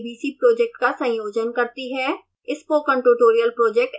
fossee team tbc project का संयोजन करती है